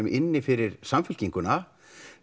inni fyrir Samfylkinguna